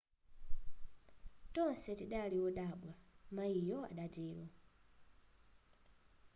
tonse tidali wodabwa mayiyo adatero